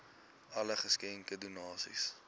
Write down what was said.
alle geskenke donasies